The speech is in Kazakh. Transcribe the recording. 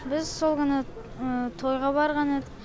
біз сол күні тойға барған едік